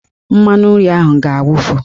Mmanụnri ahụ ga-awufu